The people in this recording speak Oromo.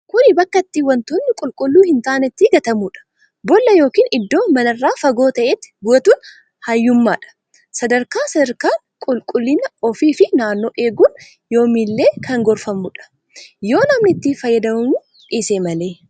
Kuni bakka itti wantoonni qulqullu hin taane itti gatamuudha. boolla ykn iddoo manarraa fagoo ta'etti gatuun hayyummaadha. Sadarkaa sadarkaan qulqullina ufi fi naannoo eegun. yoomillee kan gorfamuudha. Yoo namni itti fayaydamuu dhiise malee.